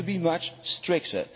We have to be much stricter.